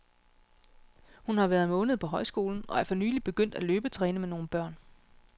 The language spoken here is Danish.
Hun har været en måned på højskolen og er for nylig begyndt at løbetræne med nogle børn.